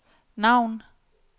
navn